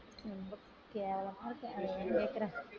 கேவலமா இருக்கு அதை ஏன் கேக்கற